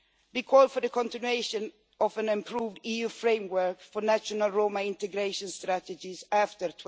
We call for the continuation of an improved EU framework for national Roma integration strategies after